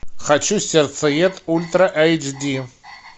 хочу сердцеед ультра эйч ди